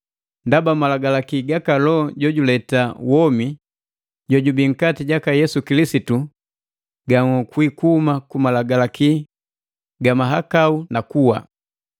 Ndaba, malagalaki gaka Loho jojuleta womi jojubii nkati jaka Yesu Kilisitu ganhokwi kuhuma ku malagalaki ga mahakau na kuwa.